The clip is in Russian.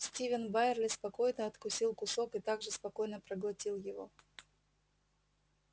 стивен байерли спокойно откусил кусок и так же спокойно проглотил его